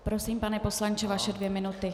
Prosím, pane poslanče, vaše dvě minuty.